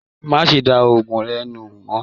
Má ṣe dá òògùn rẹ nù mọ!